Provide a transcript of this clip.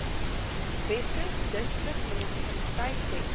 weskus distriksmunisipaliteit dek